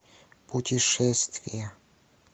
путешествия